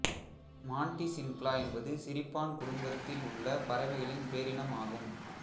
மான்டிசின்க்லா என்பது சிரிப்பான் குடும்பத்தில் உள்ள பறவைகளின் பேரினம் ஆகும்